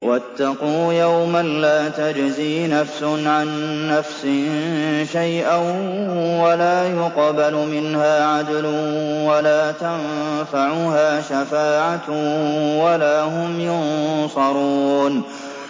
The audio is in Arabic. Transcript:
وَاتَّقُوا يَوْمًا لَّا تَجْزِي نَفْسٌ عَن نَّفْسٍ شَيْئًا وَلَا يُقْبَلُ مِنْهَا عَدْلٌ وَلَا تَنفَعُهَا شَفَاعَةٌ وَلَا هُمْ يُنصَرُونَ